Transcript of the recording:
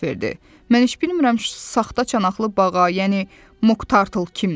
Mən heç bilmirəm ki, saxta çanaqlı bağa, yəni Moq Tartl kimdir.